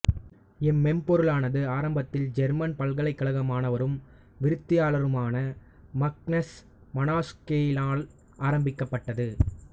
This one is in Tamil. இம்மென்பொருளானது ஆரம்பத்தில் ஜேர்மன் பல்கலைக்கழக மாணவரும் விருத்தியாளருமான மக்னஸ் மனாஸ்கேயினால் ஆரம்பிக்கப்பட்டது